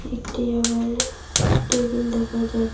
একটি আবার টেবিল দেখা যাছ--